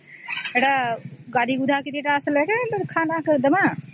ଏଟା ଗାଧେଇ ଗୁଏଧେଇ ସବୁ ଆସିଲେ ଯେ ଖା କେ ଦବ